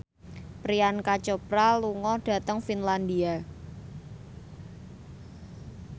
Priyanka Chopra lunga dhateng Finlandia